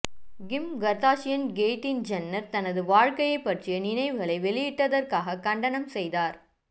கிம் Kardashian Caitlyn Jenner தனது வாழ்க்கையைப் பற்றிய நினைவுகளை வெளியிட்டதற்காக கண்டனம் செய்தார்